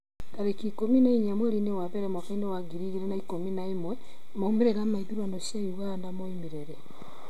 tarĩki ikũmi na inya mweri wa mbere mwaka wa ngiri igĩrĩ na ikũmi na ĩmwemaumĩrĩra ma ithurano cia Uganda maumire rĩ?